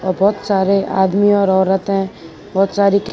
बहोत सारे आदमी और औरत है बहोत सारी --